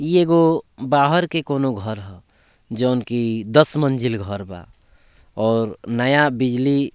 इ एगो बाहर के कोनो घर हअ जउन की दस मंजिल बा और नया बिजली --